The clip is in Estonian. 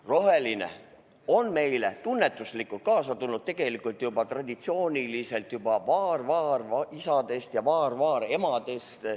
Rohelise armastus on meile tunnetuslikult kaasa tulnud juba traditsiooniliselt vaar-vaarisadelt ja vaar-vaaremadelt.